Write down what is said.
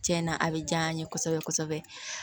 Cɛn na a bɛ jaa an ye kosɛbɛ kosɛbɛ